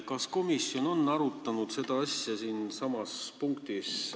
Kas komisjon on arutanud seda asja sellessamas punktis: "...